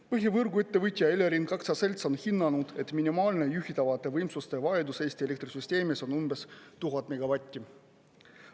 Põhivõrguettevõtja Elering aktsiaselts on hinnanud, et minimaalne juhitavate võimsuste vajadus Eesti elektrisüsteemis on umbes 1000 megavatti.